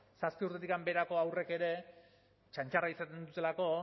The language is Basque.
zazpi urtetik beherako haurrek ere txantxarra izaten dutelako